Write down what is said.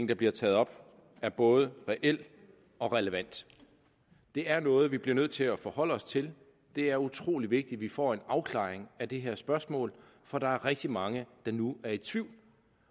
der bliver taget op er både reel og relevant det er noget vi bliver nødt til at forholde os til det er utrolig vigtigt at vi får en afklaring af det her spørgsmål for der er rigtig mange der nu er i tvivl